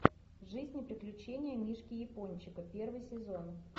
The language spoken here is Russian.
жизнь и приключения мишки япончика первый сезон